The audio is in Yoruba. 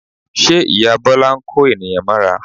Ṣe ìyá Bọ́lá ń kó ènìyàn mọ́ra?